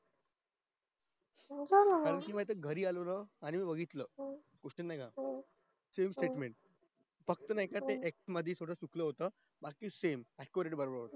हा त्या दिवशी माहित ये मी घरी आलो ना आणि बघितलं same statement फक्त ना थोडं x मध्ये चुकलं होत बाकी सगळं same accurate बरोबर होत